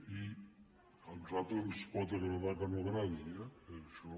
i a nosaltres ens pot agradar que no agradi eh això